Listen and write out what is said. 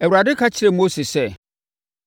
Awurade ka kyerɛɛ Mose sɛ,